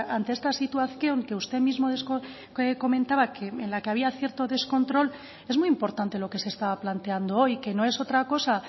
ante esta situación que usted mismo comentaba en la que había cierto descontrol es muy importante lo que se estaba planteando hoy que no es otra cosa